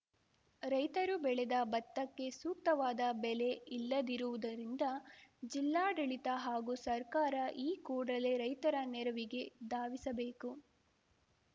ರೈತರು ಬೆಳೆದ ಭತ್ತಕ್ಕೆ ಸೂಕ್ತವಾದ ಬೆಲೆ ಇಲ್ಲದಿರುವುದರಿಂದ ಜಿಲ್ಲಾಡಳಿತ ಹಾಗೂ ಸರ್ಕಾರ ಈ ಕೂಡಲೆ ರೈತರ ನೆರವಿಗೆ ಧಾವಿಸಬೇಕು